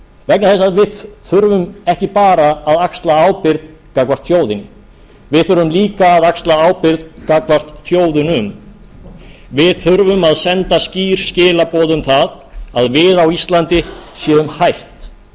vegna þess að við þurfum ekki bara að axla ábyrgð gagnvart þjóðinni við þurfum líka að axla ábyrgð gagnvart þjóðunum við þurfum að senda skýr skilaboð um það að við á íslandi séum hætt